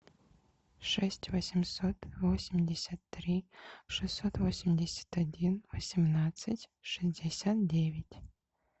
шесть восемьсот восемьдесят три шестьсот восемьдесят один восемнадцать шестьдесят девять